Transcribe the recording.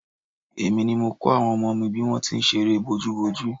Èmi ni mo kọ́ àwọn ọmọ mi ní bí wọ́n ti ń ṣe eré bójúbojú